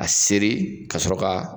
A seri ka sɔrɔ k'a